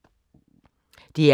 DR P3